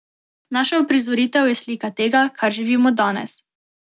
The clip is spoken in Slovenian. Naša uprizoritev je slika tega, kar živimo danes.